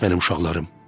Bəs mənim uşaqlarım?